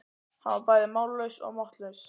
Hann var bæði mállaus og máttlaus.